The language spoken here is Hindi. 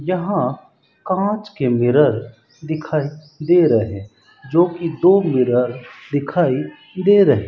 यहां कांच के मिरर दिखाई दे रहे जो की दो मिरर दिखाई दे रहे--